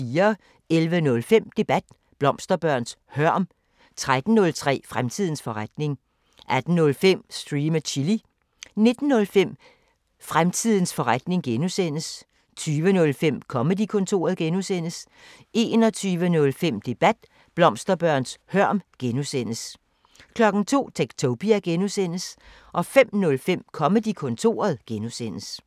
11:05: Debat: Blomsterbørns hørm 13:05: Fremtidens forretning 18:05: Stream & Chill 19:05: Fremtidens forretning (G) 20:05: Comedy-kontoret (G) 21:05: Debat: Blomsterbørns hørm (G) 02:00: Techtopia (G) 05:05: Comedy-kontoret (G)